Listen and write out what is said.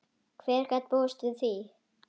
Hver gat búist við því?